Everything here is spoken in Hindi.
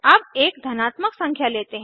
अब एक धनात्मक संख्या लेते हैं